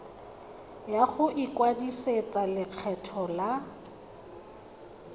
ya go ikwadisetsa lekgetho la